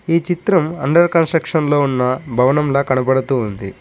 ఈ చిత్రంలో under construction భవనంలా కనబడుతుంది.